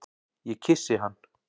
Ég kyssi hann.